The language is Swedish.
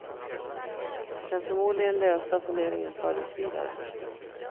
Den förmodligen lösa funderingen fördes vidare.